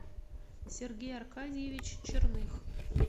сергей аркадьевич черных